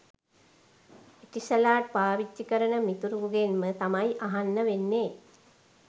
Etisalat පාවිච්චි කරන මිතුරෙකුගෙන්ම තමයි අහන්න වෙන්නෙ